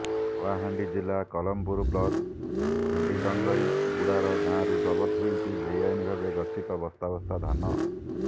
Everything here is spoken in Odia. କଳାହାଣ୍ଡି ଜିଲ୍ଲା କଲମପୁର ବ୍ଲକ ଖଣ୍ଡିଡଙ୍ଗରିଗୁଡାର ଗାଁରୁ ଜବତ ହୋଇଛି ବେଆଇନ ଭାବେ ଗଚ୍ଛିତ ବସ୍ତା ବସ୍ତା ଧାନ